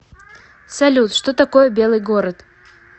салют что такое белый город